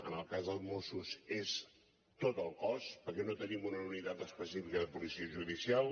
en el cas dels mossos és tot el cos perquè no tenim una unitat específica de policia judicial